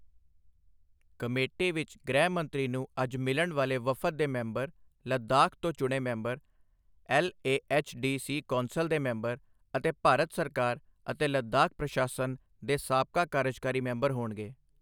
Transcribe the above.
Committee ਵਿੱਚ ਗ੍ਰਹਿ ਮੰਤਰੀ ਨੂੰ ਅੱਜ ਮਿਲਣ ਵਾਲੇ ਵਫਦ ਦੇ ਮੇਂਬਰ, ਲੱਦਾਖ ਤੋਂ ਚੁਣੇ ਮੈਂਬਰ, ਐਲਏਐਚਡੀਸੀ ਕੌਂਸਲ ਦੇ ਮੈਂਬਰ ਅਤੇ ਭਾਰਤ ਸਰਕਾਰ ਅਤੇ ਲੱਦਾਖ ਪ੍ਰਸ਼ਾਸਨ ਦੇ ਸਾਬਕਾ ਕਾਰਜਕਾਰੀ ਮੈਂਬਰ ਹੋਣਗੇ।